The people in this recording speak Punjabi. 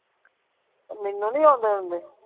ਮੈਨੂੰ ਨਹੀਂ ਆਉਂਦੇ ਉਂਦੇ।